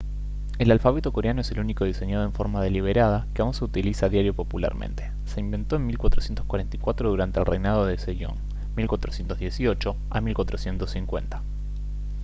el alfabeto coreano es el único diseñado en forma deliberada que aún se utiliza a diario popularmente. se inventó en 1444 durante el reinado de sejong 1418 a 1450